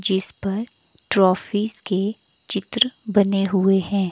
जिस पर ट्रॉफी के चित्र बने हुए हैं।